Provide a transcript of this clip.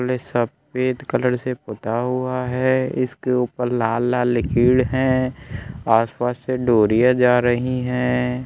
College सफेद colour से पुता हुआ है इसके ऊपर लाल-लाल लकीर है आसपास से डोरिया जा रही है।